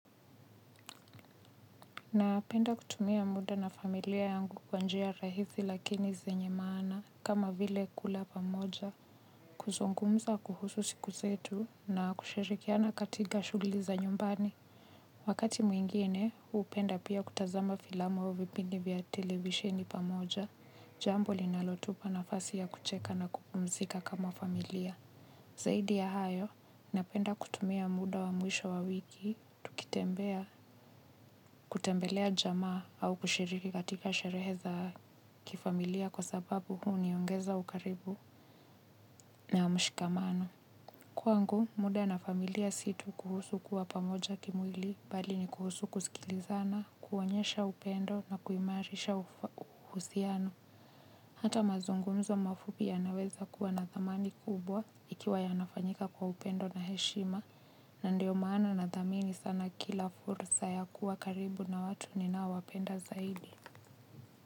Napenda kutumia muda na familia yangu kwa njia rahisi lakini zenye maana kama vile kula pamoja. Kuzungumza kuhusu siku zetu na kushirikiana katika shughuli za nyumbani. Wakati mwingine, hupenda pia kutazama filamu au vipindi vya televishini pamoja. Jambo linalotupa nafasi ya kucheka na kupumzika kama familia. Zaidi ya hayo, napenda kutumia muda wa mwisho wa wiki, tukitembelea jamaa au kushiriki katika sherehe za kifamilia kwa sababu huniongeza ukaribu na mshikamano. Kwangu muda na familia si tu kuhusu kuwa pamoja kimwili bali ni kuhusu kusikilizana kuonyesha upendo na kuimarisha uhusiano. Hata mazungumzo mafupi yanaweza kuwa na thamani kubwa ikiwa yanafanyika kwa upendo na heshima na ndio maana nathamini sana kila fursa ya kuwa karibu na watu ninaowapenda zaidi.